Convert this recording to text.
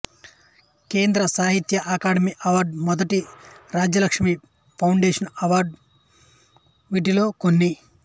కేంద్ర సాహిత్య academy award మొదటి రాజా లక్ష్మీ ఫౌండేషను అవార్డు వీటిలో కొన్ని